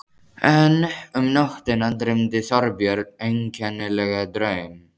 En um nóttina dreymdi Þorbjörn einkennilegan draum.